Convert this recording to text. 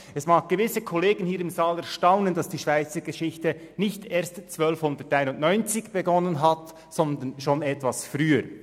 Es mag gewisse Kollegen hier im Saal erstaunen, dass die Schweizer Geschichte nicht erst 1291 begonnen hat, sondern schon etwas früher.